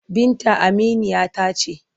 Binta aminiya ta ce.